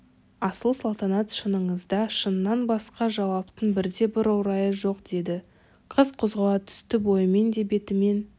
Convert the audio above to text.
асыл салтанат шыныңызға шыннан басқа жауаптың бірде-бір орайы жоқ деді қыз қозғала түсті бойымен де бетімен